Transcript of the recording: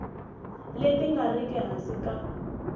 leti nga riki hansi ka